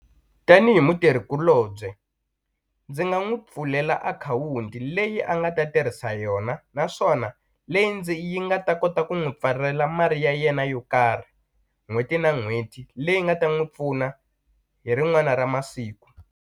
Tanihi mutirhikulobye ndzi nga n'wu pfulela akhawunti leyi a nga ta tirhisa yona naswona leyi ndzi yi nga ta kota ku n'wu pfalela mali ya yena yo karhi n'hweti na n'hweti leyi nga ta n'wi pfuna hi rin'wana ra masiku.